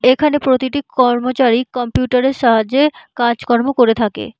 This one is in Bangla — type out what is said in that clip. এখানে প্রতিটি কর্মচারী কম্পিউটার -এর সাহায্য কাজকর্ম করে থাকে।